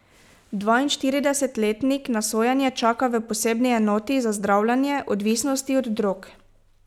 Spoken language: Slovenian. Dvainštiridesetletnik na sojenje čaka v posebni enoti za zdravljenje odvisnosti od drog.